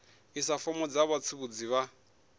isa fomo kha vhatsivhudzi vha